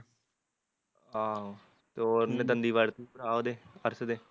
ਆਹੋ ਤੇ ਉਹਨੇ ਦੰਦੀ ਵੱਢਤੀ, ਉਹਦੇ, ਅਰਸ਼ ਦੇ ਆਹ